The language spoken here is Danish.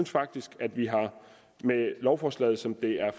faktisk at vi med lovforslaget som det er